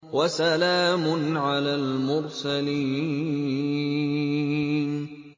وَسَلَامٌ عَلَى الْمُرْسَلِينَ